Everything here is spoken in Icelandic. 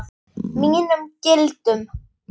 Mínum gildum.